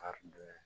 Kari dɔ